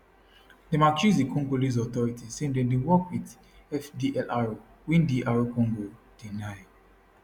dem accuse di congolese authorities say dem dey work wit fdlr wey dr congo deny